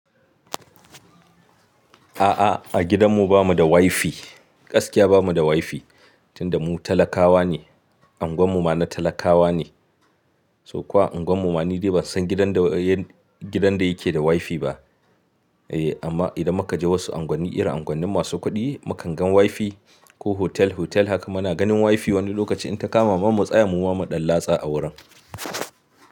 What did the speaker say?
A'a, a gidanmu bamu da WiFi. Gaskiya bamu da WiFi, tunda mu talakawa ne, angonmu ma na talakawa ne, so ko angonmu ma ni dai ban san gidan da yake da WiFi ba. Eh amma idan muka je wasu unguwanni, irin unguwanni masu kuɗi mukan gan WiFi, ko hotel hotel haka muna ganin WiFi. Wani lokaci in ta kama mamanmu tsaya mu ba mu ɗan latsa a wurin.